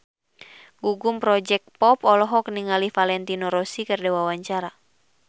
Gugum Project Pop olohok ningali Valentino Rossi keur diwawancara